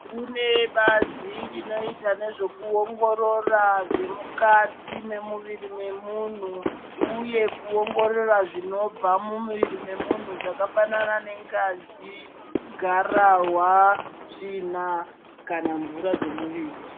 Kunebazi rinoita nezvemukati memuviri memunhu uye kuongorora zvinobva mumuviri memunhu zvakafanana ne ngazi garahwa tsvina kana mvura dze muviri.